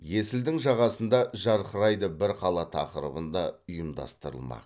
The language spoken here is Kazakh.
есілдің жағасында жарқырайды бір қала тақырыбында ұйымдастырылмақ